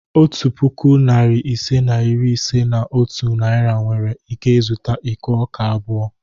Otu puku, narị ise na iri ise na otu Naira nwere ike zụta iko ọka abụọ.